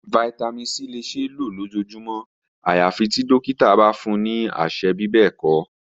Vitamin c le ṣee lo lojoojumọ ayafi ti dokita ba fun ni aṣẹ bibẹẹkọ.